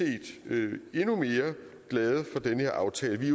vi endnu mere glade for den her aftale vi